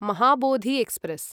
Mahabodhi express